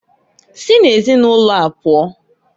Si na ezinụlọa pụọǃ